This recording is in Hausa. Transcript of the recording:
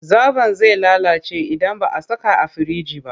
Zaɓon zai lalace idan ba a saka a firinji ba.